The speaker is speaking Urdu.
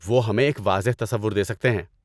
وہ ہمیں ایک واضح تصور دے سکتے ہیں۔